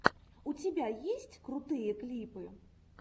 у тебя есть крутые клипы